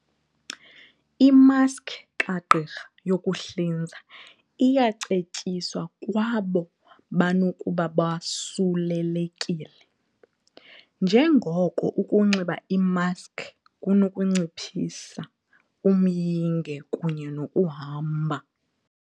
Imaski kagqirha yokuhlinza iyacetyiswa kwabo banokuba bosulelekile, njengoko ukunxiba imaski kunokunciphisa umyinge kunye nokuhamba